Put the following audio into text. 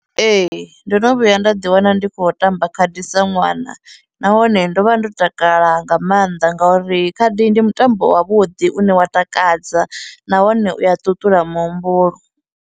Ee, ndono vhuya nda ḓi wana ndi khou tamba khadi sa ṅwana nahone ndo vha ndo takala nga maanḓa ngauri khadi ndi mutambo wa vhuḓi une wa takadza nahone u ya ṱuṱula muhumbulo.